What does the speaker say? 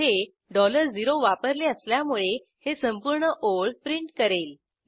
येथे 0 वापरले असल्यामुळे हे संपूर्ण ओळ प्रिंट करेल